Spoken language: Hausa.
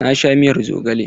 Na sha miyar zogale.